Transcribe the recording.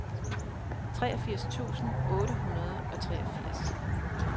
treogfirs tusind otte hundrede og treogfirs